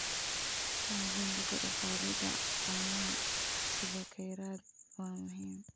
Xoojinta kor u qaadida caanaha sida kheyraad waa muhiim.